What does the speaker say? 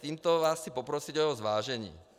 Tímto vás chci poprosit o zvážení.